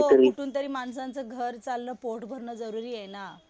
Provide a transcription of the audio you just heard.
हो कुठून तरी कुठून तरी माणसाचं घर चालणं, पोट भरन जरुरीआहे ना